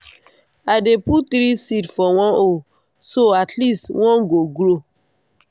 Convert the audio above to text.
i dey put three seed for one hole so at least one go grow.